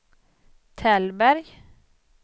Tällberg